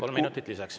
Kolm minutit lisaks.